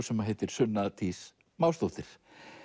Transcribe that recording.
sem heitir Sunna Dís Másdóttir